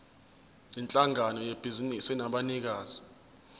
yinhlangano yebhizinisi enabanikazi